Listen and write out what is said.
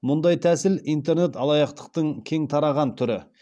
мұндай тәсіл интернет алаяқтықтың кең тараған түрі